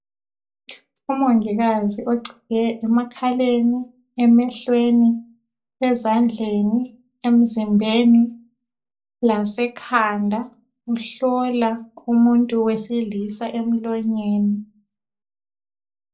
Umongikazi ogcike emakhaleni, emehlweni, ezandleni, emzimbeni lasekhanda uhlola umuntu wesilisa emlonyeni.